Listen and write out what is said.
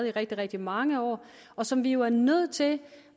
i rigtig rigtig mange år og som vi jo er nødt til